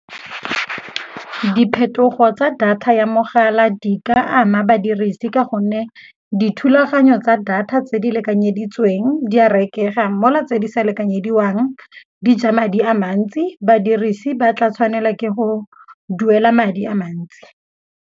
Diphetogo tsa data ya mogala di ka ama badirisi ka gonne dithulaganyo tsa data tse di lekanyeditsweng di a rekega, mo la tse di sa lekanyediwang di ja madi a mantsi. Badirisi ba tla tshwanela ke go duela madi a mantsi.